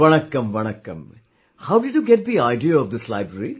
Vanakkam vanakm, how did you get the idea of this library